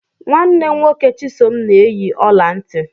Nwanne nwoke Chisom na eyi ọla nti.